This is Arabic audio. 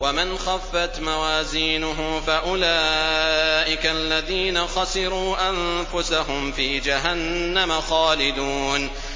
وَمَنْ خَفَّتْ مَوَازِينُهُ فَأُولَٰئِكَ الَّذِينَ خَسِرُوا أَنفُسَهُمْ فِي جَهَنَّمَ خَالِدُونَ